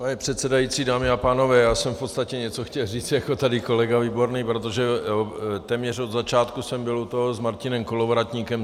Pane předsedající, dámy a pánové, já jsem v podstatě něco chtěl říct jako tady kolega Výborný, protože téměř od začátku jsem byl u toho s Martinem Kolovratníkem.